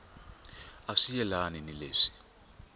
a swi yelani ni leswi